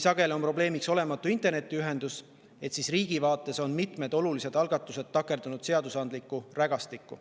Sageli on probleemiks olematu internetiühendus, kuid riigi vaates on mitmed olulised algatused takerdunud seadusandlikku rägastikku.